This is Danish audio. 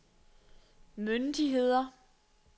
myndigheder